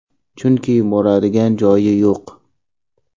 Chunki boradigan joyi yo‘q.